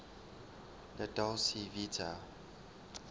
la dolce vita